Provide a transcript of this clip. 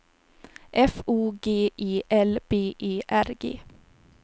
F O G E L B E R G